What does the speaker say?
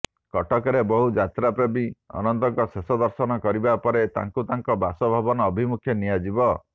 କଟକରେ ବହୁ ଯାତ୍ରା ପ୍ରେମୀ ଅନନ୍ତଙ୍କ ଶେଷ ଦର୍ଶନ କରିବା ପରେ ତାଙ୍କୁ ତାଙ୍କ ବାସଭବନ ଅଭିମୁଖେ ନିଆଯିବ